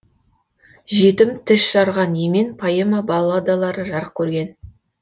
жетім тас жарған емен поэма балладалары жарық көрген